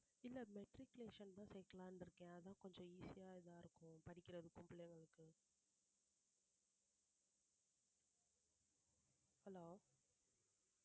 இல்ல matriculation தான் சேக்கலானு இருக்கே அதா கொஞ்சம் easy ஆ இதா இருக்கும் படிக்கிறதுக்கும் பிள்ளைகளுக்கு hello